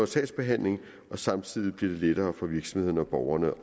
sagsbehandling og samtidig blive lettere for virksomhederne og borgerne